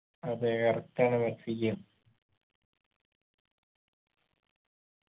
അതെ correct ആണ് Mexico